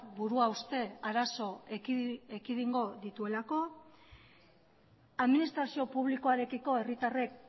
buruhauste arazo ekidingo dituelako administrazio publikoarekiko herritarrek